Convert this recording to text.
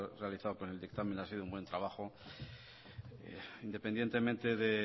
realizado con el dictamen ha sido un buen trabajo independientemente de